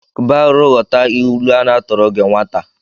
Kba arụ ghọta ilu a na-atụrụ gi nwata!